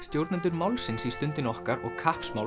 stjórnendur málsins í Stundinni okkar og